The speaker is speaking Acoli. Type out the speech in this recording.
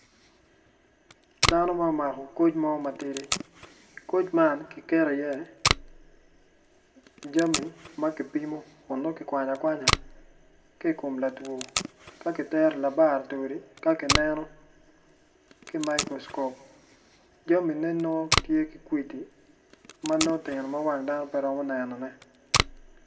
Dano ma omako koc mo matidi koc man ki keti iye jami ma kipimo kun nongo ki kwanya kwanya ki ikom latwo ka kiteri labaratori ka ki neno ki microscop jamine nongo tye ki kwidi ma nongo tini ma wang dano pe romo nenone